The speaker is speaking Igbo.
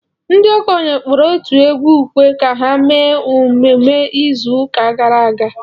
Ndị okenye kpọrọ otu egwu ekwe ka ha mee emume izu ụka gara aga.